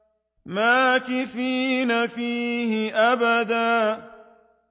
مَّاكِثِينَ فِيهِ أَبَدًا